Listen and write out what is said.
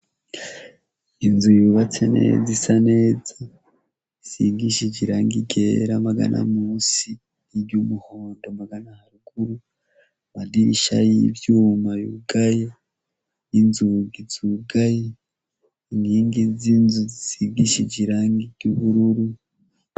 Inzu yubatse neza isa neza isigishije irangi ryera magana musi iryo umuhondo magana haruguru amadirisha y'ivyuma yugaye n'inzungi zugaye inkingi z'inzu zisigishije irangi ry'ubururu.